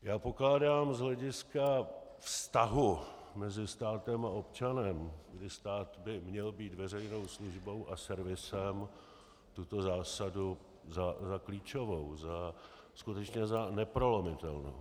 Já pokládám z hlediska vztahu mezi státem a občanem, kdy stát by měl být veřejnou službou a servisem, tuto zásadu za klíčovou, skutečně za neprolomitelnou.